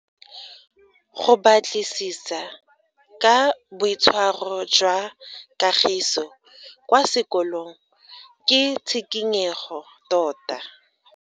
Go batlisisa ka boitshwaro jwa Kagiso kwa sekolong ke tshikinyego tota.